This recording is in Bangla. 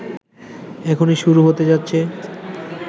এখুনি শুরু হতে যাচ্ছে